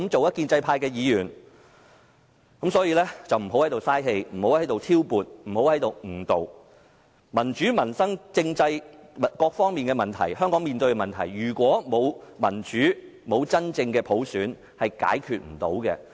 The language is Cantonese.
因此，不要在此浪費氣力來挑撥及誤導，香港面對民主、民生、政制等各方面的問題，如果沒有民主及真正的普選，是無法解決的。